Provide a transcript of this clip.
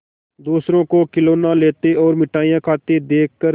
दूसरों को खिलौना लेते और मिठाई खाते देखकर